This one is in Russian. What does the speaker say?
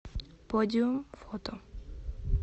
подиум фото